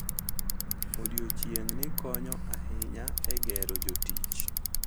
Odiechieng`ni konyo ahinya e gero jotich.